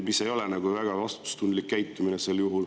See ei ole nagu väga vastutustundlik käitumine.